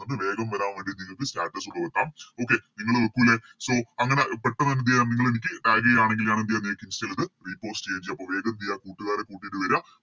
ഒന്ന് വേഗം വരാൻ വേണ്ടി നിങ്ങക്ക് Status Okay നിങ്ങള് വെക്കൂലെ So അങ്ങനെ പെട്ടന്ന് എന്തെയ്യം നിങ്ങളെനിക്ക് Tag ചെയ്യാണെങ്കി ഞാനെന്തെയ്യാം നിങ്ങക്ക് Insta ലത് Repost ചെയ്യേചെയ്യ അപ്പൊ വേഗേന്തേയ കൂട്ടുകാരെ കൂട്ടിട്ട് വര